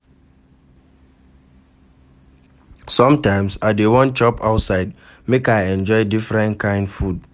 Sometimes, I dey wan chop outside make I enjoy different kind food.